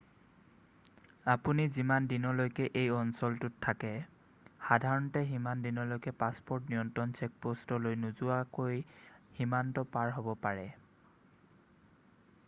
আপুনি যিমান দিনলৈকে এই অঞ্চলটোত থাকে সাধাৰণতে সিমান দিনলৈকে পাছপ'ৰ্ট নিয়ন্ত্ৰণ চেকপ'ষ্টলৈ নোযোৱাকৈ সীমান্ত পাৰ হ'ব পাৰে